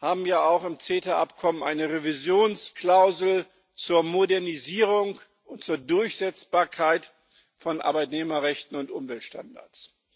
haben ja nun auch im CETA Abkommen eine Revisionsklausel zur Modernisierung und zur Durchsetzbarkeit von Arbeitnehmerrechten und Umweltstandards.